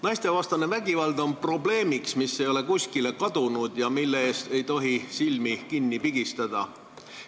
Naistevastane vägivald on probleem, mis ei ole kuskile kadunud ja mille ees ei tohi silmi kinni pigistada.